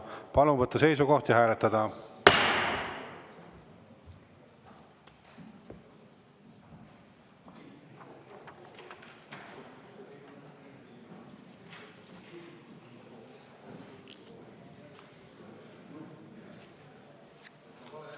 Palun võtta seisukoht ja hääletada!